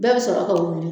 Bɛɛ bɛ sɔrɔ ka wuli